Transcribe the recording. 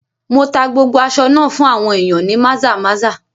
Mo tá gbogbo aṣọ náà fún àwọn ìyàn ní Maza-maza.